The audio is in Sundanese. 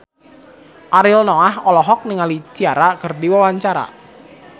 Ariel Noah olohok ningali Ciara keur diwawancara